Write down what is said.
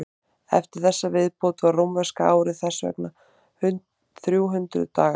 eftir þessa viðbót var rómverska árið þess vegna þrjú hundruð dagar